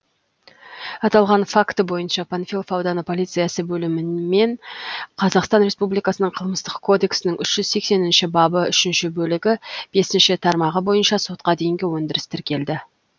аталған факті бойынша панфилов ауданы полициясы бөлімімен қазақстан республикасының қылмыстық кодексінің үш жүз сексенінші бабы үшінші бөлігі бесінші тармағы бойынша сотқа дейінгі өндіріс тіркелді